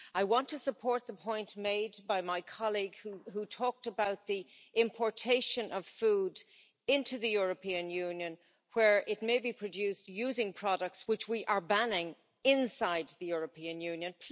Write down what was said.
I want to support the point made by my colleague who talked about the importation of food into the European Union, where it may be produced using products which we are banning inside the European Union.